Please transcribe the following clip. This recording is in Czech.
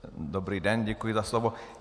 Dobrý den, děkuji za slovo.